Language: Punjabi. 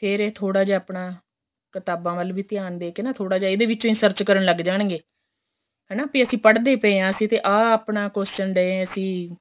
ਫ਼ੇਰ ਏਹ ਥੋੜਾ ਜਾ ਆਪਣਾ ਕ਼ਿਤਾਬਾ ਵੱਲ ਵੀ ਧਿਆਨ ਦੇਕੇ ਨਾ ਥੋੜਾ ਵਿੱਚ ਵੀ search ਕਰਨ ਲੱਗ ਜਾਣਗੇ ਹੈਨਾ ਕਿਉਂਕਿ ਪੜਦੇ ਪਏ ਹਾਂ ਅਸੀਂ ਤੇ ਆਂ ਆਪਣਾ question